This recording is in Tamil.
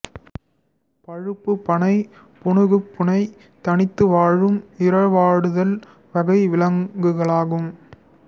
பழுப்பு பனை புனுகுப்பூனை தனித்து வாழும் இரவாடுதல் வகை விலங்குகளாகும்